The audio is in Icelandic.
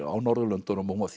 á Norðurlöndunum og